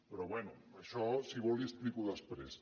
però bé això si vol li ho explico després